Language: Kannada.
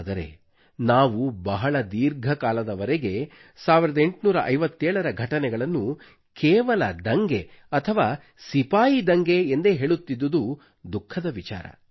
ಆದರೆ ನಾವು ಬಹಳ ದೀರ್ಘಕಾಲದವರೆಗೆ 1857 ರ ಘಟನೆಗಳನ್ನು ಕೇವಲ ದಂಗೆ ಅಥವಾ ಸಿಪಾಯಿ ದಂಗೆ ಎಂದೇ ಹೇಳುತ್ತಿದ್ದುದು ದುಃಖದ ವಿಚಾರ